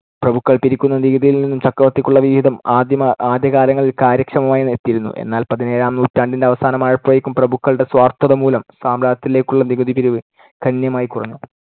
പ്രഭുക്കൾ പിരിക്കുന്ന നികുതിയിൽ നിന്നും ചക്രവർത്തിക്കുള്ള വിഹിതം ആദ്യമ~ ആദ്യകാലങ്ങളിൽ കാര്യക്ഷമമായി എത്തിയിരുന്നു. എന്നാൽ പതിനേഴാം നൂറ്റാണ്ടിന്‍ടെ അവസാനമായപ്പോഴേക്കും പ്രഭുക്കളുടെ സ്വാർത്ഥത മൂലം സാമ്രാജ്യത്തിലേക്കുള്ള നികുതി പിരിവ് ഗണ്യമായി കുറഞ്ഞു.